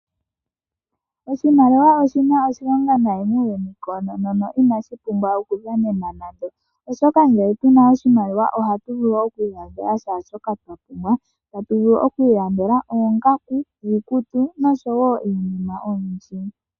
Oshimaliwa oshina oshilonga nayi muuyuni koonono inashi pumbwa okudhanenwa nando, oshoka ngele puna oshimaliwa ohatu vulu okwiilandela shaa shoka twapumbwa . Otatu vulu okwiilandela oongaku, iikutu noshowoo iinima oyindji.